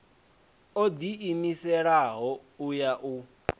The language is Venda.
o ḓiimiselaho u ya u